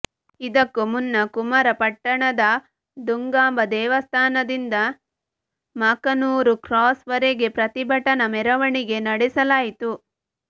ಇದಕ್ಕೂ ಮುನ್ನಾ ಕುಮಾರ ಪಟ್ಟಣದ ದುಗಾಂಬ ದೇವಸ್ಥಾನದಿಂದ ಮಾಕನೂರು ಕ್ರಾಸ್ ವರೆಗೆ ಪ್ರತಿಭಟನಾ ಮೆರವಣಿಗೆ ನಡೆಸಲಾಯಿತು